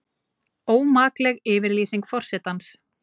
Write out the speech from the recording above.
Ómakleg yfirlýsing forsetans